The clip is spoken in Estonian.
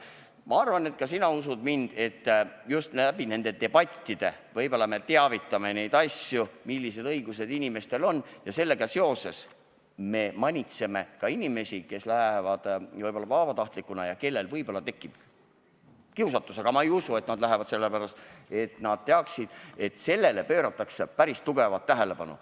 Ma arvan, et ka sina usud, et just nende debattide kaudu me teavitame inimesi, millised õigused neil on, ning sellega seoses võib-olla ka manitseme neid, kes lähevad vabatahtlikuks ja kellel võib-olla tekib kiusatus – aga ma ei usu, et nad selle pärast appi lähevad –, nii et nad teaksid, et sellele pööratakse päris suurt tähelepanu.